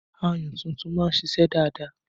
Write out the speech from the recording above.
Ayùn tuntun máa ń ṣíṣe dáadáa